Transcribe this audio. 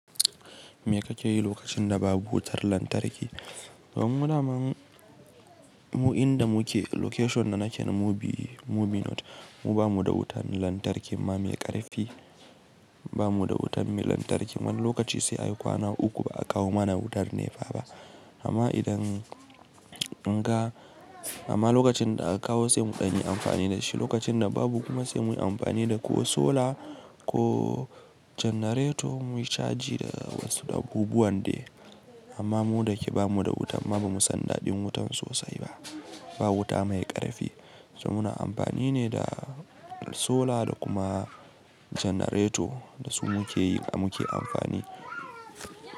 Me ka ke yi lokacin da babu wutar lantarki? Don mu daman, mu inda muke location na naken mu bi, mu bi north, mu ba mu da wutan lantarki ma mai ƙarfi, ba mu da wutan mai lantarki. Wani lokaci sai a yi kwana uku ba a kawo mana wutar nefa ba. Amma idan an ga, amma lokacin da aka kawo sai mu ɗan yi amfani da shi, lokacin da babu kuma sai muyi amfani da ko sola ko janareto muyi caji da wasu abubuwan de. Amma mu da ke ba mu da wuta ma ba mu san daɗin wuta sosai ba, ba wuta mai ƙarfi. So muna amfani ne da sola da kuma janareto da su muke yi, muke amfani.